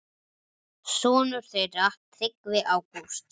Sonur þeirra Tryggvi Ágúst.